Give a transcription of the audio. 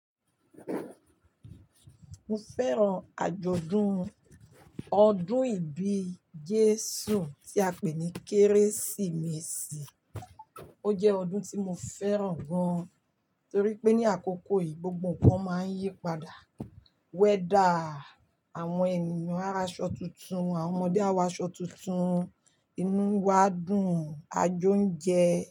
Mo fẹ́ràn àjọ̀dún ọdún ìbí Jésù tí a pè ní Kérésìmesì. Ó jẹ́ ọdún tí mo fẹ́ràn gan, torí pé ní àkókò yìí gbogbo ǹnkan máa ń yípadà. Weather, àwọn ènìyàn á ra aṣọ tuntun, àwọn ọmọdé á wọ aṣọ tuntun, inú wa dùn, àjo ń jẹ.